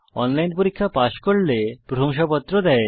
online পরীক্ষা pass করলে প্রশংসাপত্র দেয়